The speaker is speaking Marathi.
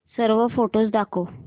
सर्व फोटोझ दाखव